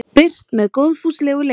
birt með góðfúslegu leyfi